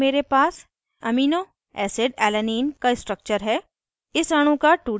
यहाँ panel पर here पास aminoacid alanine का स्ट्रक्चर है